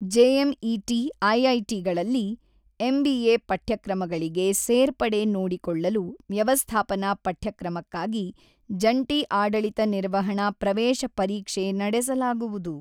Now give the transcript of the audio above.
JMET ಐಐಟಿಗಳಲ್ಲಿ MBA ಪಠ್ಯಕ್ರಮಗಳಿಗೆ ಸೇರ್ಪಡೆ ನೋಡಿಕೊಳ್ಳಲು ವ್ಯವಸ್ಥಾಪನಾ ಪಠ್ಯಕ್ರಮಕ್ಕಾಗಿ ಜಂಟಿ ಆಡಳಿತ ನಿರ್ವಹಣಾ ಪ್ರವೇಶ ಪರೀಕ್ಷೆ ನಡೆಸಲಾಗುವುದು.